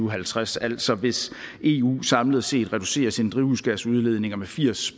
og halvtreds altså hvis eu samlet set reducerer sine drivhusgasudledninger med firs